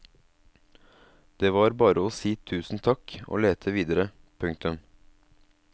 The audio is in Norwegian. Det var bare å si tusen takk og lete videre. punktum